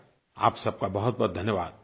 आप सबका बहुतबहुत धन्यवाद